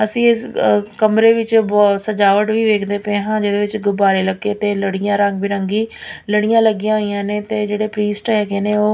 ਅੱਸੀ ਇੱਸ ਕਮਰੇ ਵਿੱਚ ਬਹੁਤ ਸਜਾਵਟ ਵੀ ਵੇਖਦੇ ਪਏ ਹਾਂ ਜੀਹਦੇ ਵਿੱਚ ਗੁਬਾਰੇ ਲੱਗੇ ਤੇ ਲੜੀਆਂ ਰੰਗ ਬਿਰੰਗੀ ਲੜੀਆਂ ਲੱਗੀਆਂ ਹੋਈਆਂ ਨੇਂ ਤੇ ਜਿਹੜੇ ਪ੍ਰੀਸਟ ਹੈਗੇ ਨੇਂ ਓਹ --